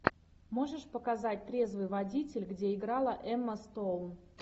можешь показать трезвый водитель где играла эмма стоун